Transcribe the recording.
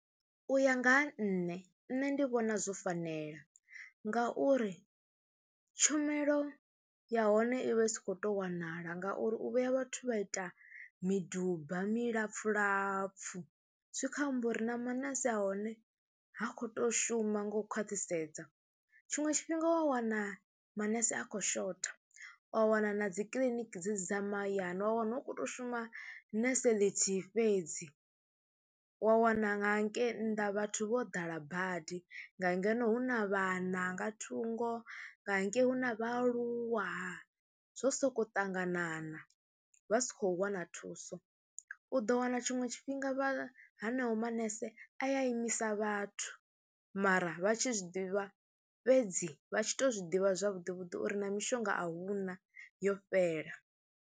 U ya nga ha nṋe nṋe ndi vhona zwo fanela ngauri tshumelo ya hone i vha i sa khou tou wanala ngauri u vhuya vhathu vha ita miduba milapfhu lapfhu zwi khou amba uri na manese a hone ha khou tou shuma nga u khwaṱhisedza. Tshiṅwe tshifhinga wa wana manese a khou shotha, wa wana na dzi kiḽiniki dzedzi dza mahayani wa wana u khou tou shuma nese ḽithihi fhedzi, wa wana nga hangei nnḓa vhathu vho ḓala badi, nga ngeno hu na vhana nga thungo nga hangei hu na vhaaluwa, zwo sokou ṱanganana, vha si khou wana thuso. U ḓo wana tshiṅwe tshifhinga vha haneo manese a ya imisa vhathu mara vha tshi zwi ḓivha fhedzi vha tshi tou zwi ḓivha zwavhuḓi vhuḓi uri na mishonga a hu na yo fhela.